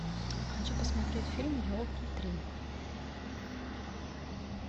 хочу посмотреть фильм елки три